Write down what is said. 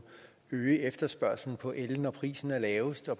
øge efterspørgslen på el når prisen er lavest og